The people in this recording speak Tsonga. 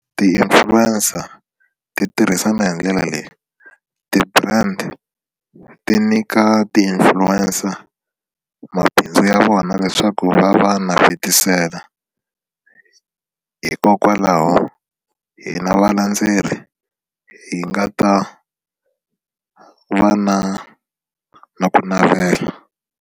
Ti-influencer ti tirhisana hi ndlela leyi ti-brand ti nyika ti-influencer mabindzu ya vona leswaku va va navetisela hikokwalaho hina valendzeleri hi nga ta va na na ku navela.